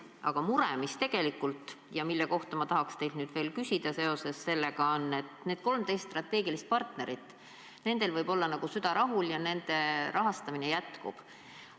Aga mure, mis tegelikult on ja mille kohta ma tahaks teilt nüüd veel küsida seoses sellega, on see, et nendel 13 strateegilisel partneril võib olla süda rahul, nende rahastamine jätkub.